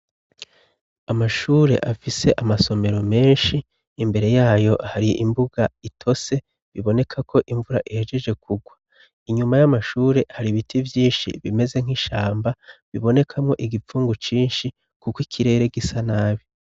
amashure afise amasomero menshi imbere yayo hari imbuga itose biboneka ko imvura ihejeje kugwa inyuma y'amashure hari ibiti vyinshi bimeze nk'ishamba bibonekamwo igipfungu cinshi kuko ikirere gisa nabi